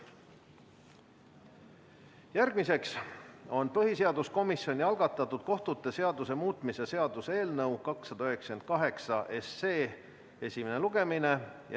Järgmine punkt on põhiseaduskomisjoni algatatud kohtute seaduse muutmise seaduse eelnõu 298 esimene lugemine.